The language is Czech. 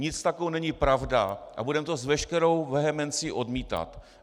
Nic takového není pravda a budeme to s veškerou vehemencí odmítat.